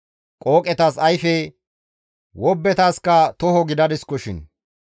Qooqetas ayfe, wobbetaskka toho gidadiskoshin.